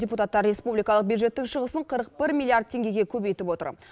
депутаттар республикалық бюджеттің шығысын қырық бір миллиард теңгеге көбейтіп отыр